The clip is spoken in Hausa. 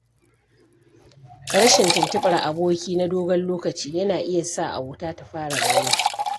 Rashin tuntuɓar aboki na dogon lokaci yana iya sa abota ta fara rauni.